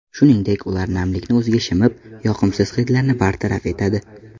Shuningdek, ular namlikni o‘ziga shimib, yoqimsiz hidlarni bartaraf etadi.